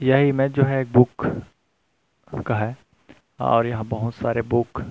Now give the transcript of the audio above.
यह इमेज जो है एक बुक का है और यहां बहुत सारे बुक --